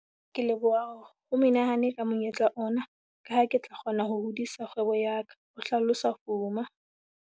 "Ke leboha ho menehane ka monyetla ona, ka ha ke tla kgona ho hodisa kgwebo ya ka," ho hlalosa Fuma.